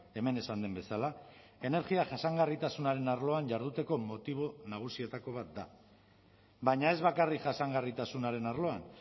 hemen esan den bezala energia jasangarritasunaren arloan jarduteko motibo nagusietako bat da baina ez bakarrik jasangarritasunaren arloan